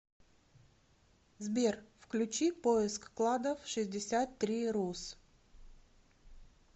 сбер включи поиск кладов шестьдесят три рус